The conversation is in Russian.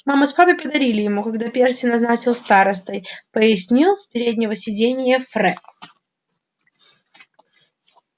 мама с папой подарили ему когда перси назначил старостой пояснил с переднего сиденья фред